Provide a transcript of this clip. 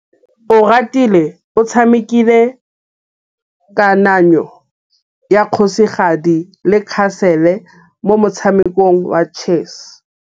Oratile o tshamekile kananyô ya kgosigadi le khasêlê mo motshamekong wa chess.